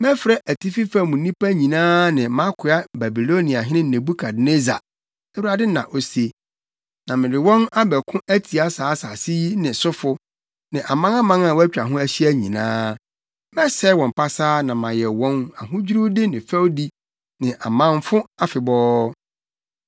mɛfrɛ atifi fam nnipa nyinaa ne mʼakoa Babiloniahene Nebukadnessar,” Awurade na ose, “na mede wɔn abɛko atia saa asase yi ne sofo, ne amanaman a wɔatwa ho ahyia nyinaa. Mɛsɛe wɔn pasaa na mayɛ wɔn ahodwiriwde ne fɛwdi, ne amamfo afebɔɔ.